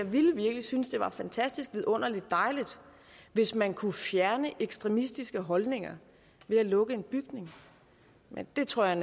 ville virkelig synes det var fantastisk vidunderlig dejligt hvis man kunne fjerne ekstremistiske holdninger ved at lukke en bygning men det tror jeg